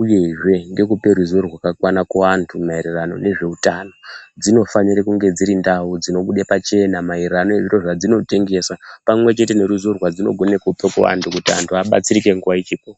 uyezve nekupa ruzivo rwakawanda kuvanhu maererano nezvehutano dzinofanira dziri ndau dzinobuda pachena maererano nezviro zvadzino tengesa pamwe chete neruzivo rwadzinogona kupa kuvanhu kuti vantu vabatsirike nguwa ichipo.